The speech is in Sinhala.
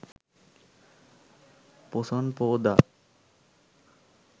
පොසොන් පෝදා